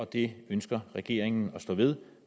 det ønsker regeringen at stå ved